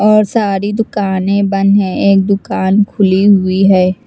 और सारी दुकाने बंद है एक दुकान खुली हुई है।